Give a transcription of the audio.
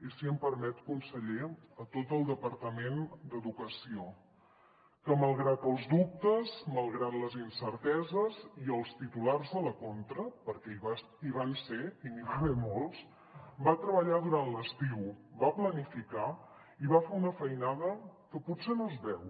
i si m’ho permet conseller a tot el departament d’educació que malgrat els dubtes malgrat les incerteses i els titulars a la contra perquè hi van ser i n’hi va haver molts va treballar durant l’estiu va planificar i va fer una feinada que potser no es veu